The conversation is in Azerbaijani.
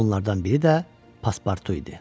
Onlardan biri də Paspartu idi.